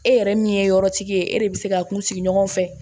E yɛrɛ min ye yɔrɔ tigi ye e de bɛ se ka kun sigi ɲɔgɔn fɛ